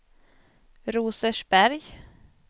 Rosersberg